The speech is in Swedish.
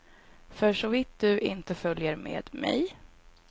Försåvitt du inte följer med mig.